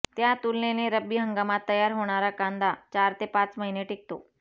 त्या तुलनेने रब्बी हंगामात तयार होणारा कांदा चार ते पाच महिने टिकतो